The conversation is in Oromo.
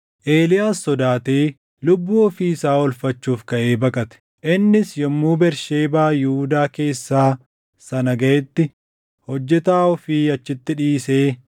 Eeliyaas sodaatee lubbuu ofii isaa oolfachuuf kaʼee baqate. Innis yommuu Bersheebaa Yihuudaa keessaa sana gaʼetti hojjetaa ofii achitti dhiisee